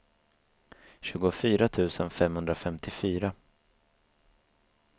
tjugofyra tusen femhundrafemtiofyra